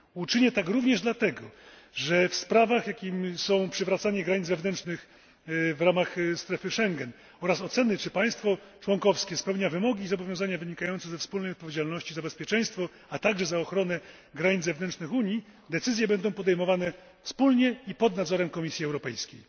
Uczynię tak również dlatego, że w sprawach, jakimi są przywracanie granic wewnętrznych w ramach strefy Schengen, oraz oceny, czy państwo członkowskie spełnia wymogi i zobowiązania wynikające ze wspólnej odpowiedzialności za bezpieczeństwo, a także za ochronę granic zewnętrznych Unii, decyzje będą podejmowane wspólnie i pod nadzorem Komisji Europejskiej.